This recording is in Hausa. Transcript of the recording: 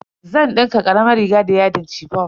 Zan dinka karamar riga da yadin chiffon.